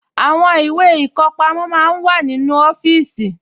Àwọn ìwé ìkọpamọ́ máa ń wà nínú ọfíìsì